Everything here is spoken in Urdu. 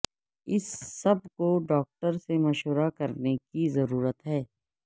اس سب کو ڈاکٹر سے مشورہ کرنے کی ضرورت ہے